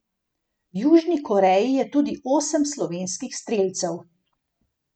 V Južni Koreji je tudi osem slovenskih strelcev.